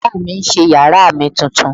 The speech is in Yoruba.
Baba mi n ṣe yara mi tuntun